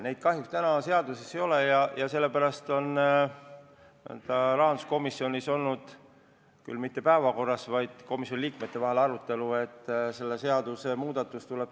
Neid punkte kahjuks seaduses ei ole ja sellepärast on rahanduskomisjonis olnud küll mitte päevakorras, vaid niisama arutelu all, et selle seaduse muudatus tuleb.